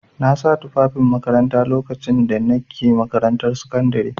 Na sa tufafin makaranta lokacin da na ke makarantar sakandare.